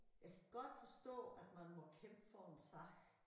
Jeg kan godt forstå at man må kæmpe for en sag